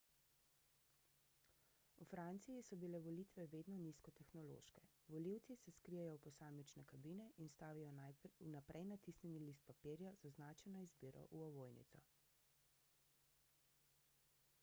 v franciji so bile volitve vedno nizkotehnološke volivci se skrijejo v posamične kabine in vstavijo vnaprej natisnjeni list papirja z označeno izbiro v ovojnico